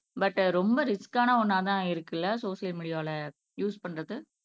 but ரொம்ப ரிஸ்கான ஒண்ணாதான் இருக்கு இல்லை சோசியல் மீடியால யூஸ் பண்றது